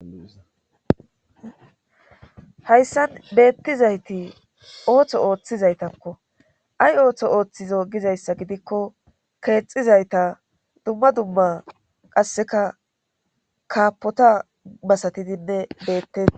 Hayssan beettizayti ooththo ooththizaytakko ay ooththo ooththizo gizayssa gidikko keexizayta dumma dumma qasseka kaapota basatidinne bettei